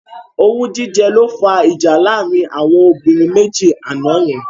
Owú jíjẹ ló fá ìjà láàrin àwọn obìnrin méjì àná yẹn.